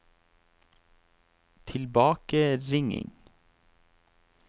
tilbakeringing